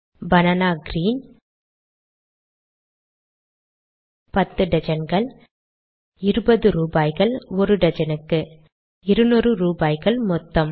banana green பத்து டஜன்கள் இருபது ரூபாய்கள் ஒரு டஜனுக்கு 200 ரூபாய்கள் மொத்தம்